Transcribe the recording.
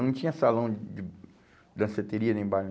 Não tinha salão de danceteria nem bar.